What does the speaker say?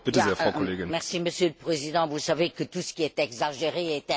Monsieur le Président, vous savez que tout ce qui est exagéré est insignifiant.